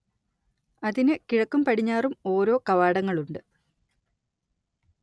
അതിന് കിഴക്കും പടിഞ്ഞാറും ഓരോ കവാടങ്ങളുണ്ട്